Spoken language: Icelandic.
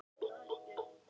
Þýtt hefir Páll Sveinsson.